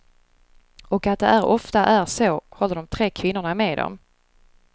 Och att det är ofta är så, håller de tre kvinnorna med om.